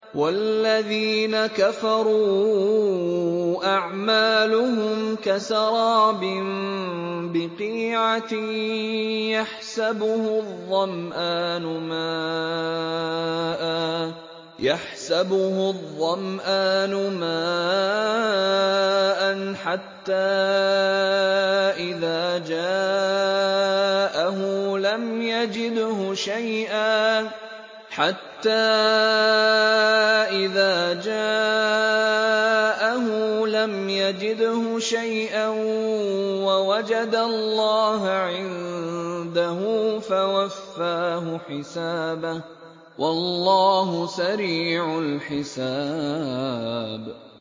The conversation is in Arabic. وَالَّذِينَ كَفَرُوا أَعْمَالُهُمْ كَسَرَابٍ بِقِيعَةٍ يَحْسَبُهُ الظَّمْآنُ مَاءً حَتَّىٰ إِذَا جَاءَهُ لَمْ يَجِدْهُ شَيْئًا وَوَجَدَ اللَّهَ عِندَهُ فَوَفَّاهُ حِسَابَهُ ۗ وَاللَّهُ سَرِيعُ الْحِسَابِ